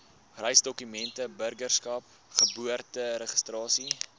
reisdokumente burgerskap geboorteregistrasie